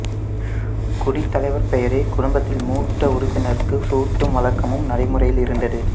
குடித்தலைவர் பெயரை குடும்பத்தில் மூத்த உறுப்பினருக்கு சூட்டும் வழக்கமும் நடைமுறையில் இருந்தது